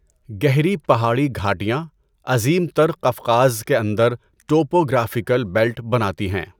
گہری پہاڑی گھاٹیاں عظیم تر قفقاز کے اندر ٹوپوگرافیکل بیلٹ بناتی ہیں۔